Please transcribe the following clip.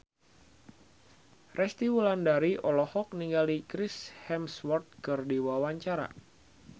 Resty Wulandari olohok ningali Chris Hemsworth keur diwawancara